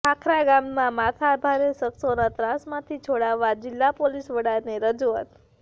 ખાખરા ગામનાં માથાભારે શખસોના ત્રાસમાંથી છોડાવવા જિલ્લા પોલીસવડાને રજૂઆત